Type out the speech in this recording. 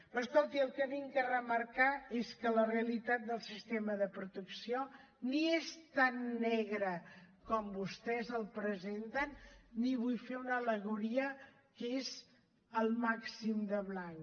però escolti el que vinc a remarcar és que la realitat del sistema de protecció ni és tan negra com vostès la presenten ni vull fer una al·legoria que és el màxim de blanc